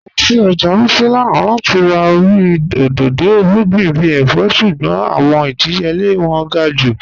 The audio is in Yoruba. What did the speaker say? À lọ sí ọ́jà Wuse lánà láti rà orí odòdó irugbìn bí èfọ̀, ṣùgbọ̀n awọn ìdíyèlẹ̀ wọn gá̀ jù.